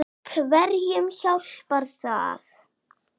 Hverjum hjálpar það?